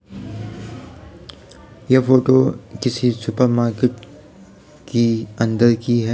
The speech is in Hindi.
ये फोटो किसी सुपर मार्केट की अंदर की है | जहाँ पे --